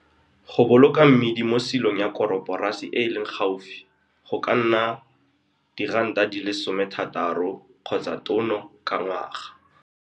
Go boloka mmidi mo silong ya koroporasi e e leng gaufi go ka nna R60 tono ka ngwaga.